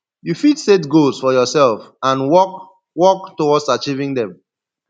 you fit set goals for yourself and work work towards achieving dem